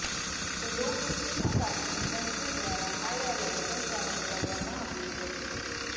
તો લો પ્રેશનના કારણે તંત્ર દ્વારા હાઇએલર્ટ પણ જાહેર કરવામાં આવ્યું છે